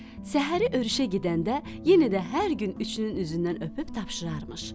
Səhəri örüşə gedəndə yenə də hər gün üçünün üzündən öpüb tapşırarmış.